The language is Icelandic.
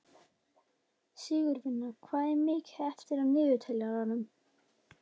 Sigurvina, hvað er mikið eftir af niðurteljaranum?